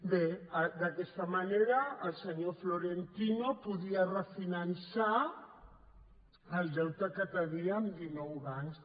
bé d’aquesta manera el senyor florentino podia refinançar el deute que tenia amb dinou bancs